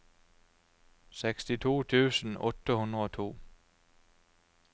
sekstito tusen åtte hundre og to